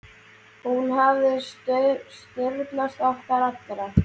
Hún hafði traust okkar allra.